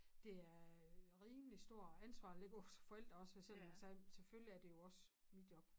Det er rimelig stor ansvar at lægge over på som forældre også for eksempel sagde selvfølgelig er det også mit job